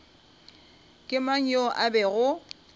ke mang yo a bego